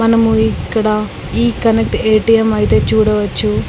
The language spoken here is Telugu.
మనము ఇక్కడ ఈ కనెక్ట్ ఎ_టి_ఎం అయితే చూడవచ్చు.